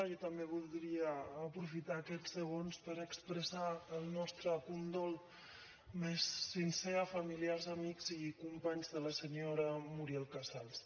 jo també voldria aprofitar aquests segons per expressar el nostre condol més sincer a familiars amics i companys de la senyora muriel casals